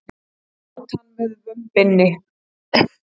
Át hann með vömbinni.